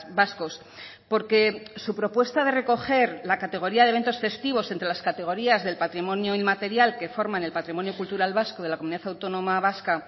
vascos porque su propuesta de recoger la categoría de eventos festivos entre las categorías del patrimonio inmaterial que forman el patrimonio cultural vasco de la comunidad autónoma vasca